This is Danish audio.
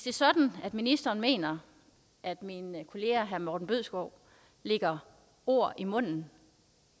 er sådan at ministeren mener at min kollega herre morten bødskov lægger ord i munden